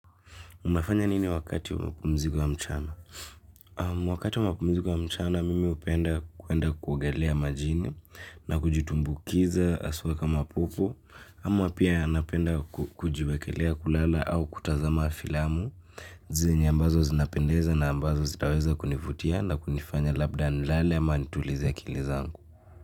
Unafanya nini wakati mapumziko ya mchana? Wakati wa mapumziko ya mchana mimi hupenda kwenda kuogelea majini na kujitumbukiza haswa kama popo ama pia napenda kujiwekelea kulala au kutazama filamu zenye ambazo zinapendeza na ambazo zitaweza kunivutia na kunifanya labda nilale ama nitulize akili zangu.